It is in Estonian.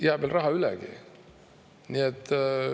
Jääb veel raha ülegi.